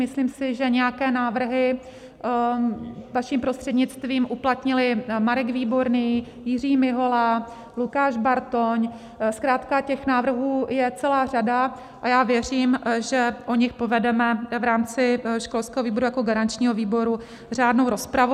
Myslím si, že nějaké návrhy vaším prostřednictvím uplatnili Marek Výborný, Jiří Mihola, Lukáš Bartoň, zkrátka těch návrhů je celá řada a já věřím, že o nich povedeme v rámci školského výboru jako garančního výboru řádnou rozpravu.